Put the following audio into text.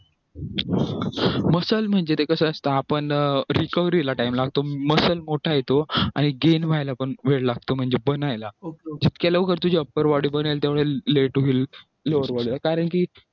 muscle म्हणजे ते कसं असतं आपण recovery ला time लागतो muscle मोठा येतो आणि gain व्हायला पण वेळ लागतो म्हणजे बनायला जितक्या लवकर तुझी upper body बनेल तेव्हा कारण की